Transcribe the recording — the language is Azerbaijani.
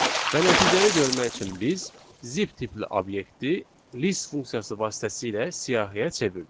Və nəticəni görmək üçün biz zip tipli obyekti list funksiyası vasitəsilə siyahıya çevirdik.